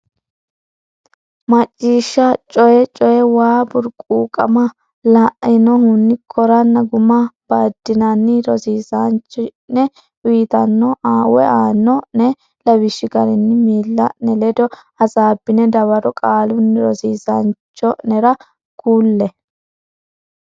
Macciishshanna Coyi Coyi Way burquuqama lainohunni koranna guma baddinanni rosiisaanchi o ne uytanno aanno ne lawishshi garinni miilla ne ledo hasaabbine dawaro qaalunni rosiisaanchi o nera kulle.